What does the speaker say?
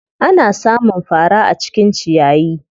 Ana sa mun fara a cikin ciyayi.